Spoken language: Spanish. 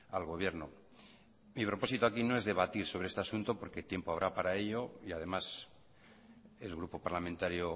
al gobierno mi propósito aquí no es debatir sobre este asunto porque tiempo habrá para ello y además el grupo parlamentario